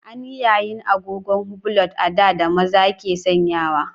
An yi yayin agogon hublot a da da maza ke sanyawa.